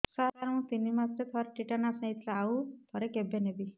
ସାର ମୁଁ ତିନି ମାସରେ ଥରେ ଟିଟାନସ ନେଇଥିଲି ଆଉ ଥରେ କେବେ ନେବି